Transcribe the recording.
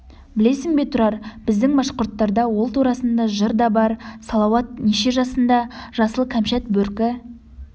білесің бе тұрар біздің башқұрттарда ол турасында жыр да бар салауат неше жасында жасыл кәмшат бөркі